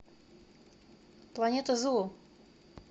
планета зу